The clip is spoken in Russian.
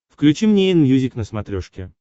включи мне энмьюзик на смотрешке